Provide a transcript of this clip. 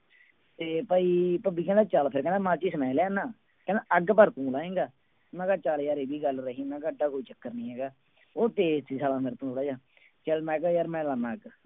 ਤੇ ਭਾਈ ਭੱਬੀ ਕਹਿੰਦਾ ਚੱਲ ਫਿਰ ਕਹਿੰਦਾ ਮਾਚਿਸ ਮੈਂ ਲਿਆਉਨਾ ਕਹਿੰਦਾ ਅੱਗ ਪਰ ਤੁੰ ਲਾਏਂਗਾ, ਮੈਂ ਕਿਹਾ ਚੱਲ ਯਾਰ ਇਹ ਵੀ ਗੱਲ ਰਹੀ, ਮੈਂ ਕਿਹਾ ਇੱਡਾ ਕੋਈ ਚੱਕਰ ਨੀ ਹੈਗਾ, ਉਹ ਤੇਜ ਸੀ ਸਾਲਾ ਮੈਥੋਂ ਥੋੜ੍ਹਾ ਜਿਹਾ, ਚੱਲ ਮੈਂ ਕਿਹਾ ਯਾਰ ਮੈਂ ਲਾਉਨਾ ਅੱਗ।